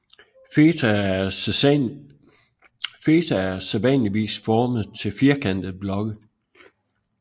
Feta er sædvanligvis formet til firkantede blokke